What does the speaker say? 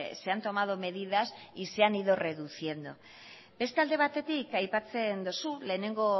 se han tomado medidas y se han dio reduciendo beste alde batetik aipatzen dugu